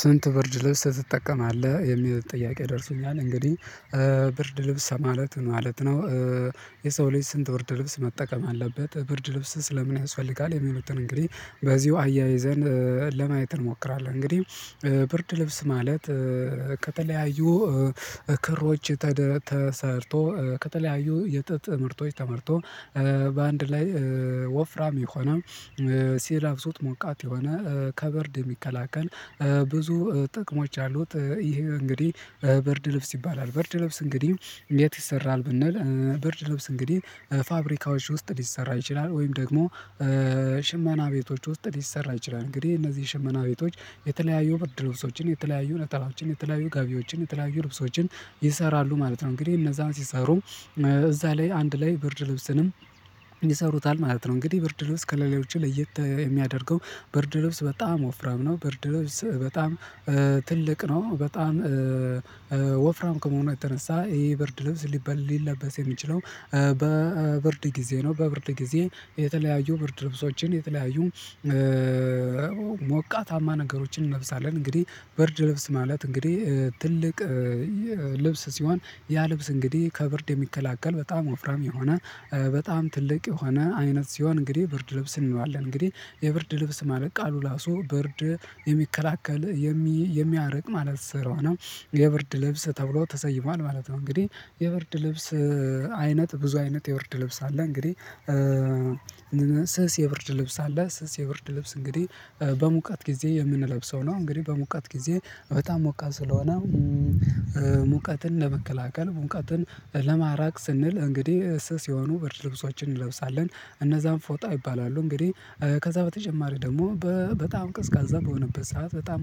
ስንት ብርድ ልብስ ትጠቀማለህ የሚል ጥያቄ ደርሶኛል እንግዲህ ብርድ ልብስ ማለት ማለት ነው? የሰው ልጅ ስንት ብርድ ልብስ መጠቀም አለበት ብርድ ልብስስ ለምን ያስፈልጋል? የሚሉትን እንግዲህ በዚሁ አያይዘን ለማየት እንሞክራለን እንግዲህ ብርድ ልብስ ማለት ከተለያዩ እክሮች ተደ ተሰርቶ ከተለያዩ የጥጥ ምርቶች ተመርቶ በአንድ ላይ ወፍራም የሆነ ሲለብሱት ሞቃት የሆነ ከበርድ የሚከላከል ብዙ ጥቅሞች አሉት። ይሄ እንግዲህ ብርድ ልብስ ይባላል ብርድ ልብስ እንግዲህ የት ይሰራል ብንል ብርድ ልብስ እንግዲህ ፋብሪካዎች ውስጥ ሊሰራ ይችላል ወይም ደግሞ ሽመና ቤቶች ውስጥ ሊሰራ ይችላል። እንግዲህ እነዚህ ሽመና ቤቶች የተለያዩ ብርድ ልብሶችን የተለያዩ ነጠላዎችን የተለያዩ ጋቢዎችን የተለያዩ ልብሶችን ይሰራሉ ማለት ነው እንግዲህ እነዛን ሲሰሩ እዛ ላይ አንድ ላይ ብርድ ልብስንም ይሰሩታል ማለት ነው። እንግዲህ ብርድ ልብስ ከለሌዎች ለየት የሚያደርገው ብርድ ልብስ በጣም ወፍራም ነው ብርድ ልብስ በጣም ትልቅ ነው በጣም ወፍራም ከመሆኑ የተነሳ ይሄ ብርድ ልብስ ሊለበስ የሚችለው በብርድ ጊዜ ነው። በብርድ ጊዜ የተለያዩ ብርድ ልብሶችን የተለያዩ ሞቃታማ ነገሮችን እንለብሳለን። እንግዲህ ብርድ ልብስ ማለት እንግዲህ ትልቅ ልብስ ሲሆን ያ ልብስ እንግዲህ ከብርድ የሚከላከል በጣም ወፍራም የሆነ በጣም ትልቅ የሆነ አይነት ሲሆን እንግዲህ ብርድ ልብስ እንለዋለን። እንግዲህ የብርድ ልብስ ማለት ቃሉ ራሱ ብርድ የሚከላከል የሚ የሚያርቅ ማለት ስለሆነ የብርድ ል ልብስ ተብሎ ተሰይሟል ማለት ነው። እንግዲህ የብርድ ልብስ አይነት ብዙ አይነት የብርድ ልብስ አለ እንግዲህ ስስ የብርድ ልብስ አለ ስስ የብርድ ልብስ እንግዲህ በሙቀት ጊዜ የምንለብሰው ነው። እንግዲህ በሙቀት ጊዜ በጣም ሞቃት ስለሆነ ሙቀትን ለመከላከል ሙቀትን ለማራቅ ስንል እንግዲህ ስስ የሆኑ ብርድ ልብሶችን እንለብሳለን እነዛም ፎጣ ይባላሉ እንግዲህ ከዛ በተጨማሪ ደግሞ በጣም ቀዝቃዛ በሆነበት ሰዓት በጣም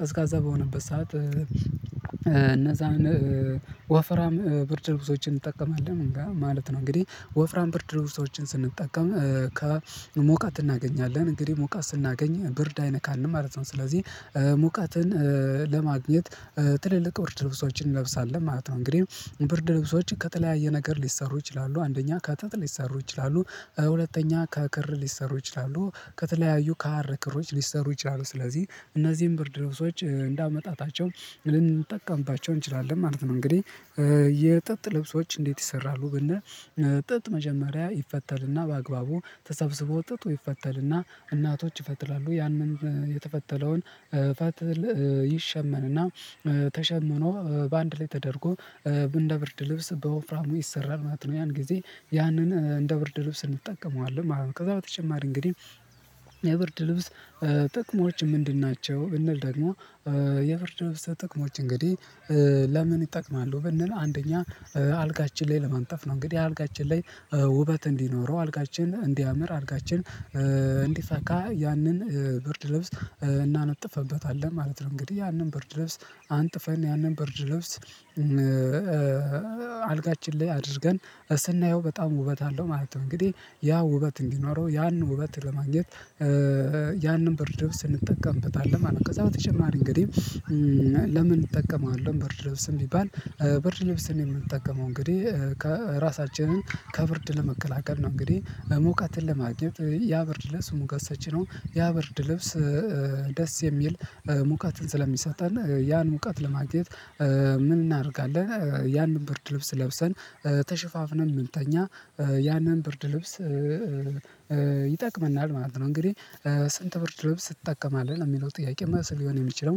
ቀዝቃዛ በሆነበት ሰዓት እነዛን ወፍራም ብርድ ልብሶችን እንጠቀማለን ማለት ነው። እንግዲህ ወፍራም ብርድ ልብሶችን ስንጠቀም ከሙቀት እናገኛለን እንግዲህ ሙቀት ስናገኝ ብርድ አይነካንም ማለት ነው። ስለዚህ ሙቀትን ለማግኘት ትልልቅ ብርድ ልብሶችን እንለብሳለን ማለት ነው። እንግዲህ ብርድ ልብሶች ከተለያየ ነገር ሊሰሩ ይችላሉ አንደኛ ከጥጥ ሊሰሩ ይችላሉ ሁለተኛ ከክር ሊሰሩ ይችላሉ ከተለያዩ ከሀር ክሮች ሊሰሩ ይችላሉ ስለዚህ እነዚህን ብርድ ልብሶች እንዳመጣጣቸው ልንጠቀምባቸው እንችላለን ማለት ነው። እንግዲህ የጥጥ ልብሶች እንዴት ይሰራሉ ብንል ጥጥ መጀመሪያ ይፈተልና በአግባቡ ተሰብስቦ ጥጥ ይፈተልና እናቶች ይፈትላሉ ያንን የተፈተለውን ፈትል ይሸመንና ተሸምኖ በአንድ ላይ ተደርጎ እንደ ብርድ ልብስ በወፍራሙ ይሰራል ማለት ነው። ያን ጊዜ ያንን እንደ ብርድ ልብስ እንጠቀመዋለን ከዛ በተጨማሪ እንግዲህ የብርድ ልብስ ጥቅሞች ምንድን ናቸው? ብንል ደግሞ የብርድ ልብስ ጥቅሞች እንግዲህ ለምን ይጠቅማሉ ብንል አንደኛ አልጋችን ላይ ለማንጠፍ ነው እንግዲህ አልጋችን ላይ ውበት እንዲኖረው አልጋችን እንዲያምር አልጋችን እንዲፈካ ያንን ብርድ ልብስ እናነጥፍበታለን ማለት ነው። እንግዲህ ያንን ብርድ ልብስ አንጥፈን ያንን በርድ ልብስ አልጋችን ላይ አድርገን ስናየው በጣም ውበት አለው ማለት ነው። እንግዲህ ያ ውበት እንዲኖረው ያንን ውበት ለማግኘት ያንን ብርድ እንጠቀምበታለን ማለት ነው። ከዛ በተጨማሪ እንግዲህ ለምን እንጠቀመዋለን ብርድ ልብስን ቢባል ብርድ ልብስን የምንጠቀመው እንግዲህ ከ ራሳችንን ከብርድ ለመከላከል ነው። እንግዲህ ሙቀትን ለማግኘት ያ ብርድ ልብስ ሙቀት ሰጪ ነው ያበርድ ልብስ ደስ የሚል ሙቀትን ስለሚሰጠን ያን ሙቀት ለማግኘት ምን እናደርጋለን ያንን ብርድ ልብስ ለብሰን ተሽፋፍን ምንተኛ ያንን ብርድ ልብስ ይጠቅመናል ማለት ነው። እንግዲህ ስንት ብርድ ልብስ ትጠቀማለህ ነው ሚለው ጥያቄው? መልስ ሊሆን የሚችለው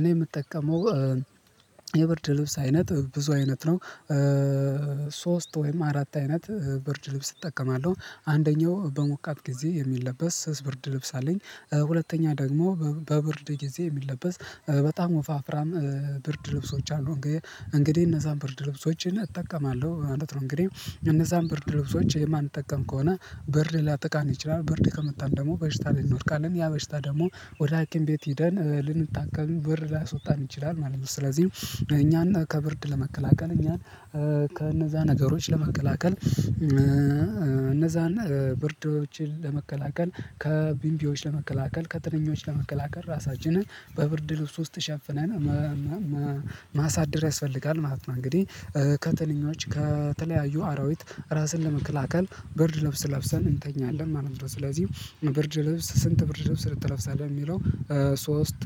እኔ የምጠቀመው የብርድ ልብስ አይነት ብዙ አይነት ነው። ሶስት ወይም አራት አይነት ብርድ ልብስ እጠቀማለሁ አንደኛው በሞቃት ጊዜ የሚለበስ ስስ ብርድ ልብስ አለኝ። ሁለተኛ ደግሞ በብርድ ጊዜ የሚለበስ በጣም ወፋፍራም ብርድ ልብሶች አሉ ግ እንግዲህ እነዛ ብርድ ልብሶች እጠቀማለሁ ማለት ነው። እንግዲህ እነዛን ብርድ ልብሶች የማንጠቀም ከሆነ ብርድ ሊያጠቃን ይችላል ብርድ ከመታን ደግሞ በሽታ ላይ እንወድቃለን ያ በሽታ ደግሞ ወደ ሀኪም ቤት ሂደን ልንታከም ብር ሊያስወጣም ይችላል ማለት ነው። ስለዚህ እኛን ከብርድ ለመከላከል እኛን ከእነዛ ነገሮች ለመከላከል እነዛን ብርዶችን ለመከላከል ከቢምቢዎች ለመከላከል ከትንኞች ለመከላከል ራሳችንን በብርድ ልብስ ውስጥ ሸፍነን እነንነ ማሳደር ያስፈልጋል ማለት ነው። እንግዲህ ከትንኞች ከተለያዩ አራዊት ራስን ለመከላከል ብርድ ለብሰን እንተኛለን ማለት ነው። ስለዚህ ብርድ ልብስ ስንት ብርድ ልብስ ትለብሳለህ ነው ሚለው? ሶስት